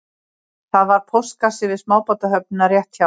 Það var póstkassi við smábátahöfnina rétt hjá